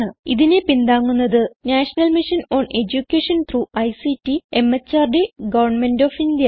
ഇതിനെ പിന്താങ്ങുന്നത് national mission on education through ICT MHRD government of India